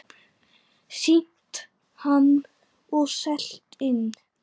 Sýnt hann og selt inn.